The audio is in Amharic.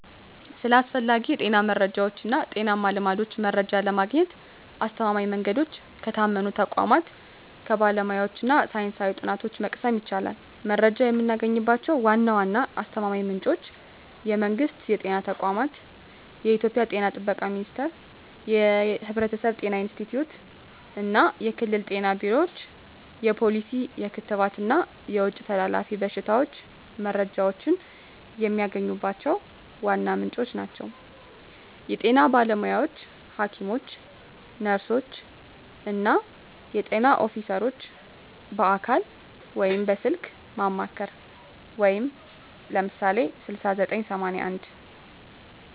ስለ አስፈላጊ የጤና መረጃዎች እና ጤናማ ልማዶች መረጃ ለማግኘት አስተማማኝ መንገዶች ከታመኑ ተቋማት፣ ከባለሙያዎች እና ሳይንሳዊ ጥናቶች መቅሰም ይቻላል። መረጃ የምናገኝባቸው ዋና ዋና አስተማማኝ ምንጮች የመንግስት የጤና ተቋማት: የኢትዮጵያ ጤና ጥበቃ ሚኒስቴር፣ የሕብረተሰብ ጤና ኢንስቲትዩት፣ እና የክልል ጤና ቢሮዎች የፖሊሲ፣ የክትባት እና የውጭ ተላላፊ በሽታዎች መረጃዎችን የሚያገኙባቸው ዋና ምንጮች ናቸው። የጤና ባለሙያዎች: ሐኪሞች፣ ነርሶች፣ እና የጤና ኦፊሰሮች በአካል ወይም በስልክ ማማከር (ለምሳሌ 6981)።